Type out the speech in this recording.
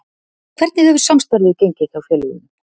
Hvernig hefur samstarfið gengið hjá félögunum?